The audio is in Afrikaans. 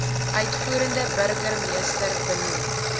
uitvoerende burgemeester benoem